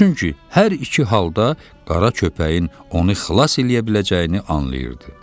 Çünki hər iki halda qara köpəyin onu xilas eləyə biləcəyini anlayırdı.